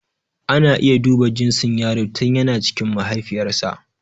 Ana iya duba ginsin yaro tin yana cikin mahaifiyar sa